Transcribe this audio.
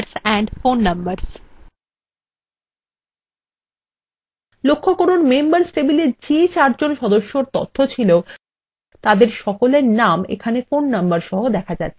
লক্ষ্য করুন members table যে চারজন সদস্যর তথ্য ছিল তাদের সকলের নাম phone নম্বর সহ দেখা যাচ্ছে